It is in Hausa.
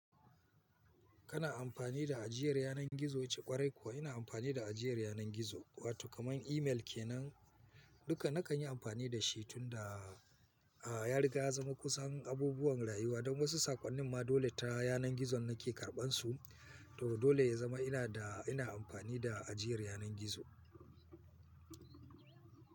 Kana amfani da ajiyar yanar gizo, ce Kwarai kuwa ina amfani da ajiyar yanar gizo, wato kamar email ke nan duka na kan yi amfani da shi tunda, ah, yariga ya zama kusan abubuwan rayuwa don wasu sakonnin ma dole ta yanar gizo nake karɓan su, to dole ya zama ina da ina amfani da ajiyar yanar gizo.